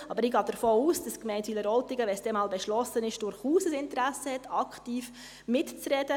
Aber ich gehe davon aus, dass die Gemeinde Wileroltigen, wenn es dann einmal beschlossen ist, durchaus ein Interesse hat, aktiv mitzureden.